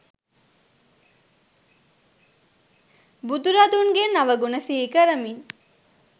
බුදුරදුන්ගේ නව ගුණ සිහි කරමින්